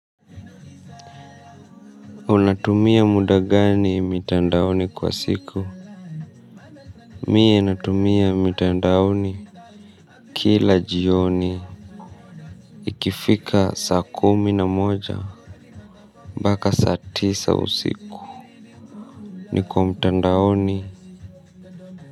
Unatumia muda gani mitandaoni kwa siku. Mie natumia mitandaoni. Kila jioni ikifika saa kumi na moja mpaka saa tisa usiku niko mtandaoni.